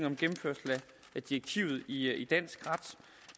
en gennemførelse af direktivet i dansk ret